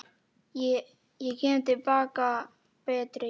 Ég kem til baka betri.